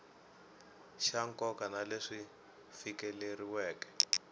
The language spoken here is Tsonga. xa nkoka na leswi fikeleriweke